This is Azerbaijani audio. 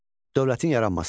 Dövlətin yaranması.